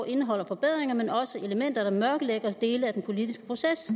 indeholder forbedringer men også elementer der mørkelægger dele af den politiske proces